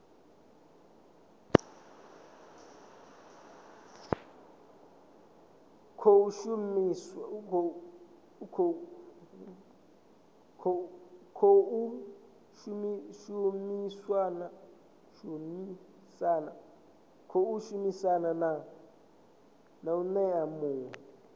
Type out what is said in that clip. khou shumisana na mec muwe